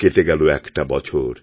কেটে গেল একটা বছর